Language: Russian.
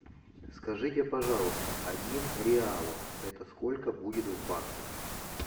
скажите пожалуйста один реалов это сколько будет в баксах